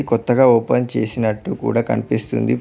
కొత్తగా ఓపెన్ చేసినట్టు కూడా కనిపిస్తుంది.